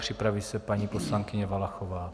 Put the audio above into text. Připraví se paní poslankyně Valachová.